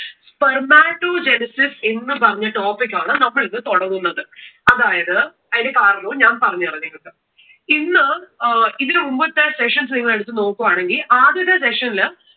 spermatogenesis എന്ന് പറഞ്ഞ topic ആണ് നമ്മൾ ഇന്ന് തുടങ്ങുന്നത്. അതായത് അതിന്റെ കാരണവും ഞാൻ പറഞ്ഞു തരാം നിങ്ങൾക്ക്. ഇന്ന് അഹ് ഇതിനു മുമ്പത്തെ sessions നിങ്ങൾ എടുത്തു നോക്കുകയാണെങ്കിൽ ആദ്യത്തെ session ൽ